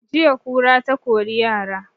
Jiya kura ta kori yara